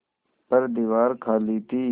पर दीवार खाली थी